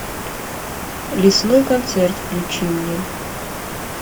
лесной концерт включи мне